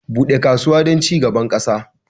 Bude kasuwa don cigaban ƙasa